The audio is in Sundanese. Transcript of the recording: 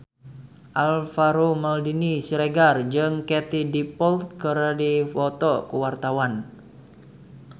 Alvaro Maldini Siregar jeung Katie Dippold keur dipoto ku wartawan